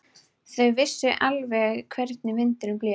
Þau vissu alveg hvernig vindurinn blés.